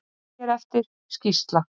Nefnd hér eftir: Skýrsla.